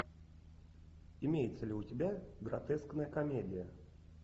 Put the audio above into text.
имеется ли у тебя гротескная комедия